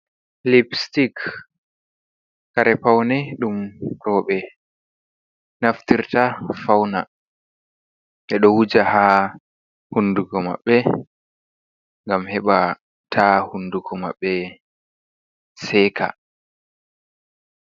liipstik kare paune ɗum roɓe naftirta fauna. Ɓeɗo wuja haa hunduko maɓɓe ngam heɓa ta hunduko maɓɓe seka.